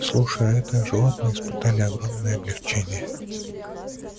слушай а это животные испытали огромное облегчение